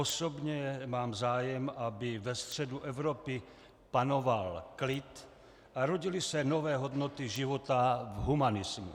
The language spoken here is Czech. Osobně mám zájem, aby ve středu Evropy panoval klid a rodily se nové hodnoty života v humanismu.